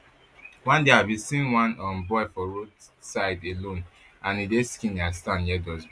one day i bin see one um boy for roadside alone and e dey skinny and stand near dustbin